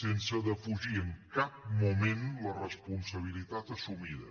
sense defugir en cap moment la responsabilitat assumida